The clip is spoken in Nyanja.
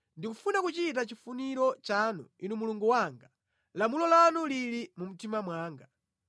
Ndikufuna kuchita chifuniro chanu, Inu Mulungu wanga; lamulo lanu lili mu mtima mwanga.”